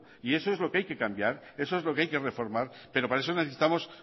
y eso es lo que hay que cambiar eso es lo que hay que reformar pero para eso necesitamos